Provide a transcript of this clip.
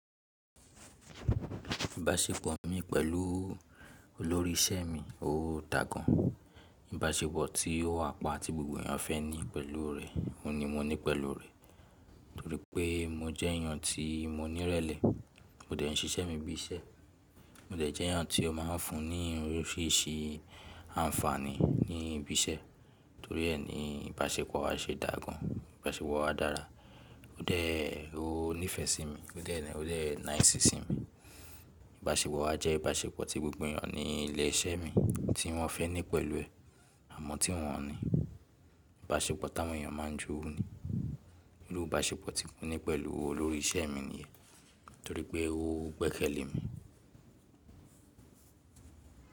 Ìbáṣepọ̀ mi pẹ̀lú olórí iṣẹ́ mi, ó dà gan. Ìbáṣepọ̀ tí ó wà pa tí gbogbo èèyàn fẹ́ ní pẹ̀lú rẹ̀, òun ni mo ní pẹ̀lú rẹ̀. Torí pé mo jẹ́ èèyàn tí mo nírẹ̀lẹ̀, mo dẹ̀ ń ṣiṣẹ́ mi bí iṣẹ́, mó dẹ̀ jẹ́ èèyàn tí ó ma ń fún ni oríṣiríṣi àǹfààní ní ibi iṣẹ́. Torí ẹ ni ìbáṣepọ̀ wa ṣe dà gan, ìbáṣepọ̀ wa dára, ó dẹ̀ ó nífẹ̀ẹ́ sí mi, ó dẹ̀ nice i sí mi. Ìbáṣepọ̀ wa jẹ́ ìbáṣepọ̀ tí gbogbo èèyàn ní ilé iṣẹ́ mi tí wọ́n fẹ́ ní pẹ̀lú ẹ, àmọ́ tí wọ́n ò ní. Ìbáṣepọ̀ táwọn èèyàn máa ń jowú ni. Irú ìbáṣepọ̀ tí mo ní pẹ̀lú olórí iṣẹ́ mi nìyẹn, torí pé ó gbẹ̀kẹ́lẹ̀ mi.